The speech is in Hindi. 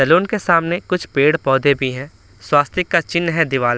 सैलून के सामने कुछ पेड़-पौधे भी हैं स्वास्तिक का चिन्ह है दीवाल --